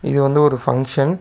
இது வந்து ஒரு ஃபங்க்ஷன் .